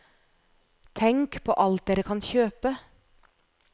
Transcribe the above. Tenk på alt dere kan kjøpe.